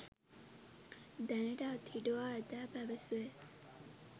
දැනට අත්හිටුවා ඇතැයි පැවැසේ.